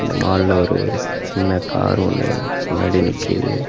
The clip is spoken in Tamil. இந்த மால்ல ஒரு சின்ன கார் ஒன்னு முன்னாடி நிக்குது.